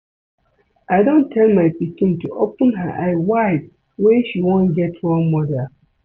I don tell my pikin to open her eye wide wen she wan get role model